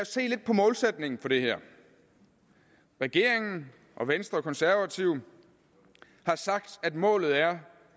se lidt på målsætningen for det her regeringen venstre og konservative har sagt at målet er